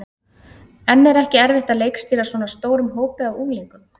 En er ekki erfitt að leikstýra svona stórum hópi af unglingum?